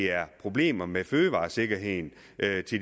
er problemer med fødevaresikkerheden